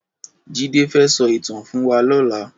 Jide fè sò itàn fún wà lòlá